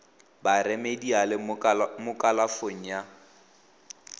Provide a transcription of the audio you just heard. ba remediale mo kalafong ya